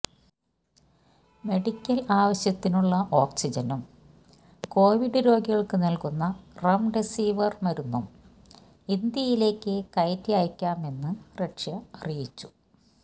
medical ആവശ്യത്തിനുള്ള ഓക്സിജനും COVID രോഗികൾക്ക് നൽകുന്ന റെംഡെസിവിർ മരുന്നും ഇന്ത്യയിലേക്ക് കയറ്റി അയക്കാമെന്ന് റഷ്യ അറിയിച്ചു